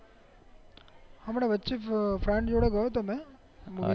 અમને વચે friend જોડે ગયો હતો